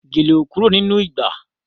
Gèlè ò kúrò nínú ìgbà